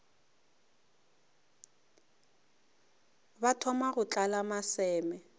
ba thoma go tlala maseme